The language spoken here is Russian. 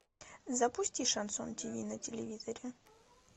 запусти шансон тиви на телевизоре